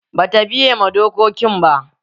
Bata biye ma dokokin.